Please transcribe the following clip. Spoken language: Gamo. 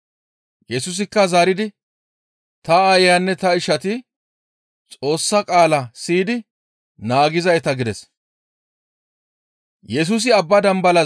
Yesusikka zaaridi, «Ta aayanne ta ishati Xoossa qaala siyidi naagizayta» gides.